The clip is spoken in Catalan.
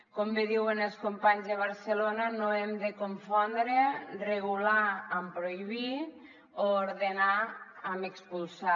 com bé diuen els companys de barcelona no hem de confondre regular amb prohibir o ordenar amb expulsar